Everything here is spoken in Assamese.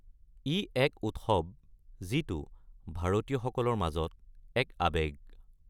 ই এক উৎসৱ যিটো ভাৰতীয়সকলৰ মাজত এক আৱেগ।